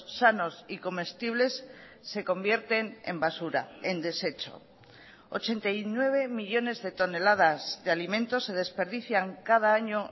sanos y comestibles se convierten en basura en desecho ochenta y nueve millónes de toneladas de alimentos se desperdician cada año